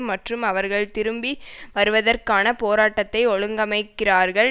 மற்றும் அவர்கள் திரும்பி வருவதற்கான போராட்டத்தை ஒழுங்கமைக்கிறார்கள்